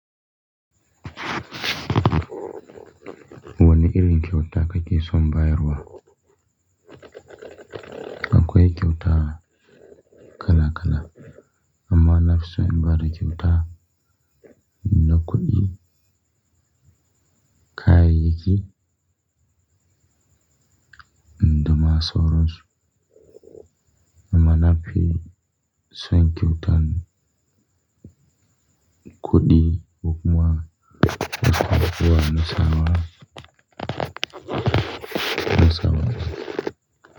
Wani irin kyauta ka ke so in ba wa? Akwai kyauta kala kala amma na fi so in ba da kyauta na kuɗi. Kayayyaki? Da ma sauransu. Amma na fi son kyautan kuɗi duk ma ba ku ba ni amsa ba, ni sama ba.